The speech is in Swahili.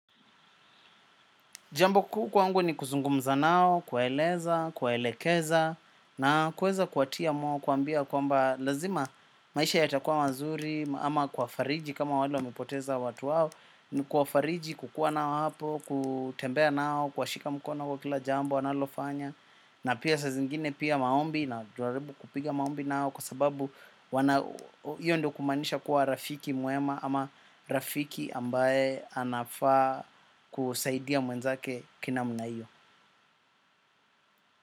Jambo kuu kwangu ni kuzungumza nao, kueleza, kuelekeza, na kuweza kuwa tia moyo, kuambia kwamba lazima maisha yatakuwa mazuri, ama kuwa fariji kama wale wamepoteza watu wao, ni kuwa fariji kukuwa nao hapo, kutembea nao, kwa shika mkona kwa kila jambo wanalofanya. Na pia saa zingine pia maombi najaribu kupiga maombi nao kwa sababu hiyo ndiyo kumaanisha kuwa rafiki mwema ama rafiki ambaye anafaa kusaidia mwenzake ki namna hiyo.